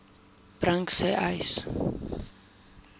bring sê uys